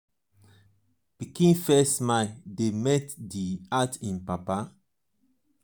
pikin first smile dey melt di heart im mama con still light up di family.